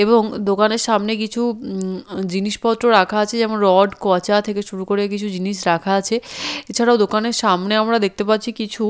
এবং দোকানের সামনে কিছু উম উ জিনিসপত্র রাখা আছে যেমন রড কচা থেকে শুরু করে কিছু জিনিস রাখা আছে এছাড়াও দোকানের সামনে আমরা দেখতে পারছি কিছু--